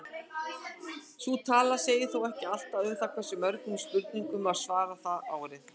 Sú tala segir þó ekki allt um það hversu mörgum spurningum var svarað það árið.